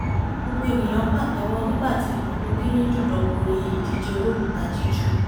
gbogbo ènìyàn pàtẹ́wọ́ nígbàtí ikọ̀ tó kéré jù lọ borí ìdíje olókùúta jújù